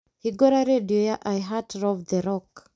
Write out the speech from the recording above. hingũra rĩndiũ ya iheart rov the rock